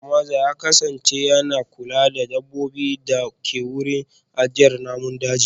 Likita Mamza ya kasance yana kula da dabbobin da ke wurin ajiyar namun daji